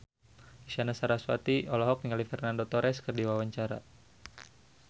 Isyana Sarasvati olohok ningali Fernando Torres keur diwawancara